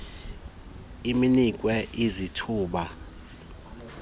inikwe izintlu zeenkqubo